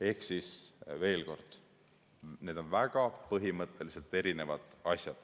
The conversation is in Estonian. Ehk siis veel kord: need on põhimõtteliselt erinevad asjad.